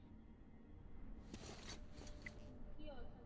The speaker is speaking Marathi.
संगती अह